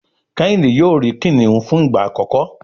Kehinde yóò ri kiniun fun igba akọkọ